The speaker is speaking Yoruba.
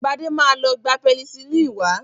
Gbadé ma lọ gba pẹnisílínì wá.